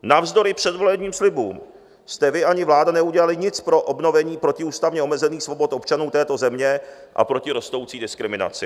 Navzdory předvolebním slibům jste vy ani vláda neudělali nic pro obnovení protiústavně obnovených svobod občanů této země a proti rostoucí diskriminaci.